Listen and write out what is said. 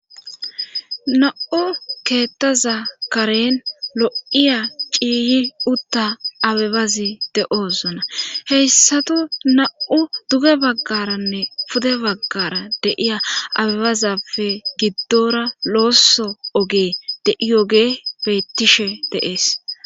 Na7u keettaza karen lo7iya ciiyi utta abebazi de7ozona heyssatu na7u duge baggaranne pude baggara deiya abebazappe giddora looso ogee de7iyoge bettishe deees.